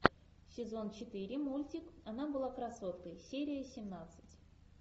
сезон четыре мультик она была красоткой серия семнадцать